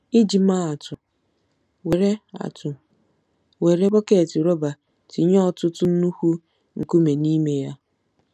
Iji maa atụ: Were atụ: Were bọket rọba tinye ọtụtụ nnukwu nkume n’ime ya.